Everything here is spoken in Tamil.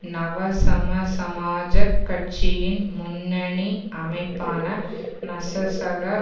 நவசமசமாஜக் கட்சியின் முன்னணி அமைப்பான நசசக